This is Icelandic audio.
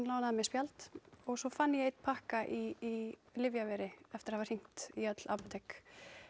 lánaði mér spjald og svo fann ég einn pakka í Lyfjaveri eftir að hafa hringt í öll apótek